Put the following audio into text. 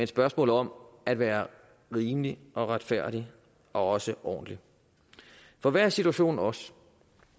spørgsmål om at være rimelig og retfærdig og også ordentlig for hvad er situationen også